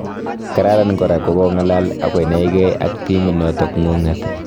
Kararan kora kokongalal akonae ak timit notok ngunget